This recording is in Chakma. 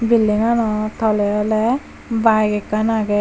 buildinganot tole oley bayek ekkan aagey.